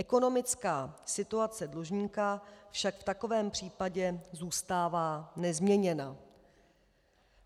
Ekonomická situace dlužníka však v takovém případě zůstává nezměněna.